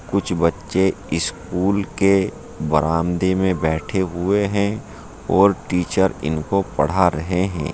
कुछ बच्चे स्कूल के बरामदे में बैठे हुए हैं और टीचर इनको पड़ा रहे हैं।